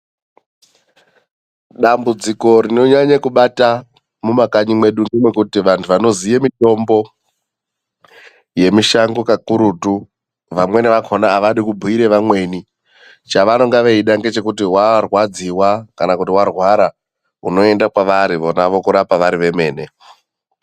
Dambudziko rinonyanya kubata mumakanyi medu nderekuti vantu vanoziva mitombo yemishango kakurutu, vamweni vakhona avadi kubhuira vamweni. Chavanonga veida kuti warwadziwa kana kuti warwara unoenda pavari vona vokurapa vari vemene.